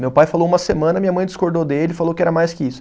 Meu pai falou uma semana, minha mãe discordou dele, falou que era mais que isso.